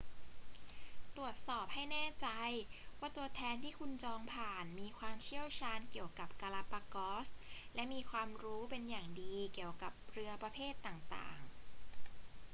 ตรวจสอบให้แน่ใจว่าตัวแทนที่คุณจองผ่านมีความเชี่ยวชาญเกี่ยวกับกาลาปากอส และมีความรู้เป็นอย่างดีเกี่ยวกับเรือประเภทต่าง ๆ